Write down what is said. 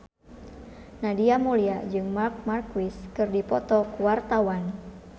Nadia Mulya jeung Marc Marquez keur dipoto ku wartawan